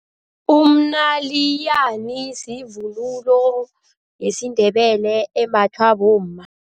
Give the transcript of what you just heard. Umnayilani yivunulo yesiNdebele embathwa bomma.